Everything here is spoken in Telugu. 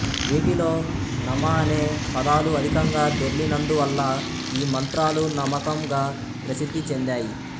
వీటిలో నమ అనే పదాలు అధికంగా దొర్లినందువల్ల యీ మంత్రాలు నమకం గా ప్రసిద్ధి చెందాయి